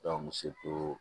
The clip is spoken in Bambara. misi ko